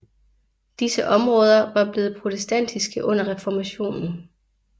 Disse områder var blevet protestantiske under reformationen